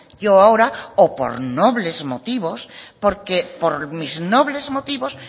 yo ahora o por nobles motivos porque por mis nobles motivos